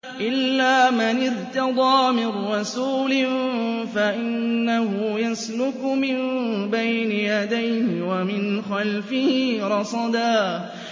إِلَّا مَنِ ارْتَضَىٰ مِن رَّسُولٍ فَإِنَّهُ يَسْلُكُ مِن بَيْنِ يَدَيْهِ وَمِنْ خَلْفِهِ رَصَدًا